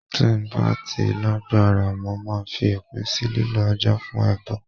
Tí ń bá ti lágbára, mo máa fi òpin sì lílọ Ajá fún ẹbọ.